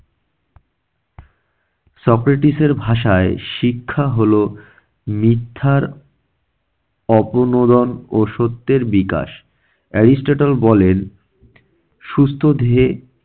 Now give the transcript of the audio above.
Socrates এর ভাষায় শিক্ষা হলো মিথ্যার অপনুরণ ও সত্যের বিকাশ। এরিস্টটল বলেন- সুস্থ দেহে